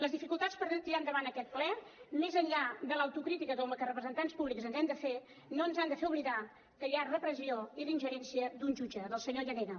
les dificultats per tirar endavant aquest ple més enllà de l’autocrítica que com a representants públics ens hem de fer no ens han de fer oblidar que hi ha repressió i la ingerència d’un jutge del senyor llarena